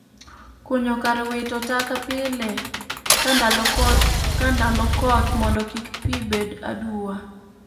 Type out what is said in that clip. Kunyo kar wito taka pile ka ndalo koth mondo kik pii bed aduwa